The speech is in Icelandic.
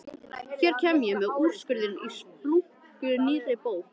Hér kem ég með úrskurðinn í splunkunýrri bók!